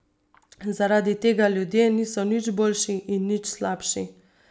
Zaradi tega ljudje niso nič boljši in nič slabši.